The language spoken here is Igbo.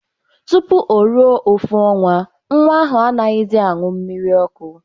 Tupu o ruo ofu ọnwa, nwa ahụ anaghịzị aṅụ mmiri ọkụ.